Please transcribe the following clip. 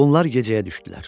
Bunlar gecəyə düşdülər.